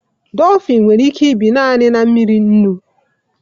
Dolfin nwere ike ibi naanị na mmiri nnu